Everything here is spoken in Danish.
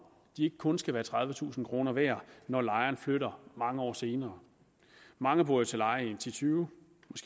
ikke kun skal være tredivetusind kroner værd når lejeren flytter mange år senere mange bor jo til leje i ti tyve